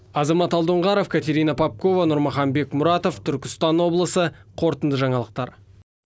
азамат алдоңғаров катерина попкова нурмахан бекмуратов түркістан облысы қорытынды жаңалықтар